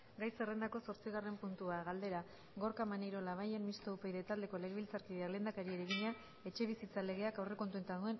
gai zerrendako zortzigarren puntua galdera gorka maneiro labayen mistoa upyd taldeko legebiltzarkideak lehendakariari egina etxebizitza legeak aurrekontuetan